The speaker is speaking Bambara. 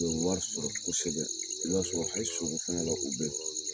U bɛ wari sɔrɔ kosɛbɛ i b'a sɔrɔ hali sɔgɔ fɛngɛla 'u bɛ